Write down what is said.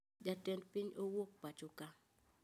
Jatend piny owuok pachoka